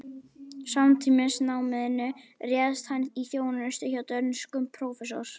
Samtímis náminu réðst hann í þjónustu hjá dönskum prófessor